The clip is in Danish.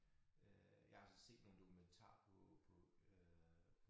Øh jeg har så set nogle dokumentarer på på øh